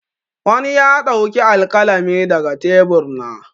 Wani ya ɗauki alƙalami daga tebur na.